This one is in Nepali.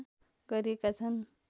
गरिएका छन्